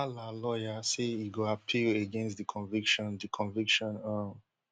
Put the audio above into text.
humala lawyer say e go appeal against di conviction di conviction um